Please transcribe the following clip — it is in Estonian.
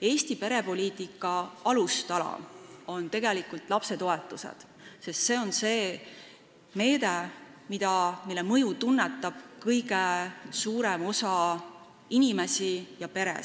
Eesti perepoliitika alustala on tegelikult lapsetoetused, see on see meede, mille mõju tunnetab kõige suurem osa inimesi ja peresid.